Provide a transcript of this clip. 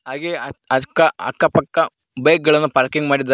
ಹಾಗೆ ಅಕ್ ಅಕ್ಕ ಅಕ್ಕ ಪಕ್ಕ ಬೈಕ್ ಗಳನ್ನು ಪಾರ್ಕಿಂಗ್ ಮಾಡಿದ್ದರೆ.